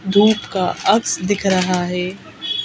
धूप का अक्ष दिख रहा है।